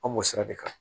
An b'o sira de kan